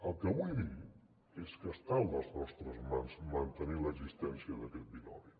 el que vull dir és que està a les nostres mans mantenir l’existència d’aquest binomi